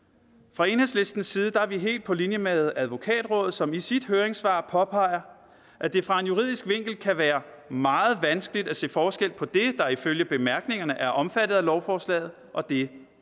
fra enhedslistens side er vi helt på linje med advokatrådet som i sit høringssvar påpeger at det fra en juridisk vinkel kan være meget vanskeligt at se forskel på det der ifølge bemærkningerne er omfattet af lovforslaget og det